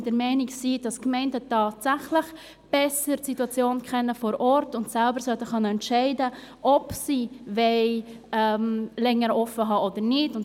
Dies, weil wir der Meinung sind, dass die Gemeinden hier wirklich die Situation vor Ort besser kennen und selber entscheiden können sollen, ob sie länger offenhalten wollen.